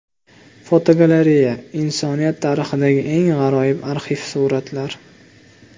Fotogalereya: Insoniyat tarixidagi eng g‘aroyib arxiv suratlar.